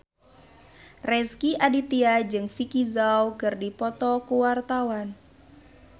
Rezky Aditya jeung Vicki Zao keur dipoto ku wartawan